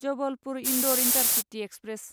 Jabalpur Indore intercity express